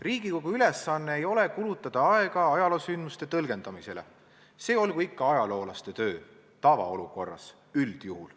Riigikogu ülesanne ei ole kulutada aega ajaloosündmuste tõlgendamisele, see olgu ikka ajaloolaste töö – tavaolukorras, üldjuhul.